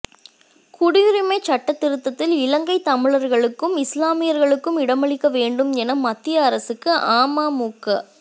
குடியுரிமை சட்டத்திருத்தத்தில் இலங்கைத் தமிழர்களுக்கும் இஸ்லாமியர்களுக்கும் இடமளிக்க வேண்டும் என மத்திய அரசுக்கு அமமுக